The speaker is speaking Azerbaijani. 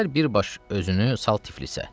Gəl birbaş özünü sal Tiflisə.